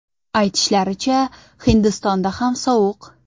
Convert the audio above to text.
Aytishlaricha, Hindistonda ham sovuq .